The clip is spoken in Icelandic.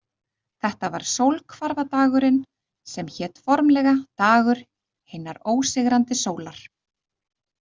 Þetta var sólhvarfadagurinn, sem hét formlega „dagur hinnar ósigrandi sólar“.